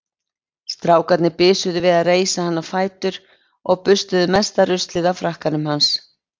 Strákarnir bisuðu við að reisa hann á fætur og burstuðu mesta ruslið af frakkanum hans.